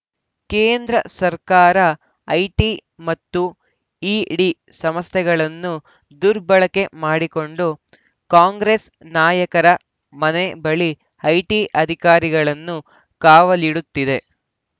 ಕೇಂದ್ರ ಸರ್ಕಾರ ಐಟಿ ಮತ್ತು ಇಡಿ ಸಂಸ್ಥೆಗಳನ್ನು ದುರ್ಬಳಕೆ ಮಾಡಿಕೊಂಡು ಕಾಂಗ್ರೆಸ್‌ ನಾಯಕರ ಮನೆ ಬಳಿ ಐಟಿ ಅಧಿಕಾರಿಗಳನ್ನು ಕಾವಲಿಡುತ್ತಿದೆ